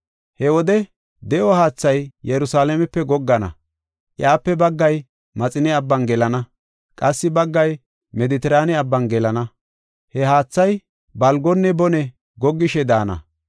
He wode de7o haathay Yerusalaamepe goggana; iyape baggay Maxine Abban gelana; qassi baggay Medetiraane Abban gelana. He haathay balgonne bone goggishe daana.